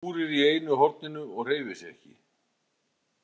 Hún kúrir í einu horninu og hreyfir sig ekki.